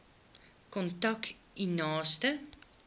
kontak u naaste